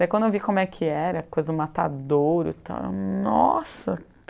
Daí quando eu vi como é que era, a coisa do matadouro e tal, eu... Nossa!